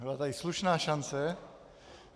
Byla tady slušná šance.